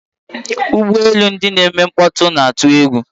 Ụgbọ elu ndị na-eme mkpọtụ na-atụ egwu.